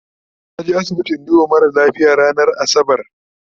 naje asibiti in duba mara lafia ranar asabar